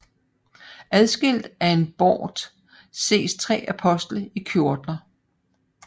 Adskilt af en bort ses tre apostle i kjortler